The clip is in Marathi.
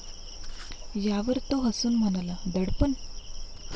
यावर तो हसून म्हणाला, दडपण?